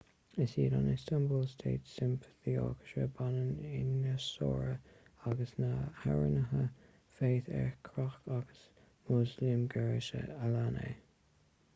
is iad an istanbul state symphony orchestra banna ianasóra agus na hamhránaithe fatih erkoç agus müslüm gürses a lean é